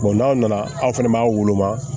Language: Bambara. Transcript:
n'aw nana aw fana b'a woloma